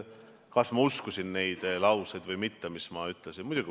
Kas ma uskusin neid lauseid või mitte, mis ma ütlesin?